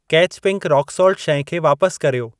Catch pink rock salt शइ खे वापस कर्यो।